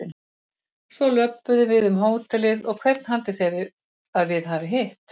Svo löbbuðu við um hótelið og hvern haldið þið að við hafi hitt?